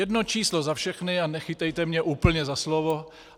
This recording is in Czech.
Jedno číslo za všechny a nechytejte mě úplně za slovo.